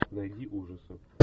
найди ужасы